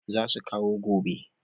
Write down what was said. Za su kawo gobe